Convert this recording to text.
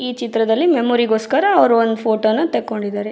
ಈ ಚಿತ್ರದಲ್ಲಿ ಮೆಮೊರಿ ಗೋಸ್ಕರ ಅವ್ರು ಒಂದ್ ಫೋಟೋ ನ ತಕೊಂಡಿದ್ದಾರೆ.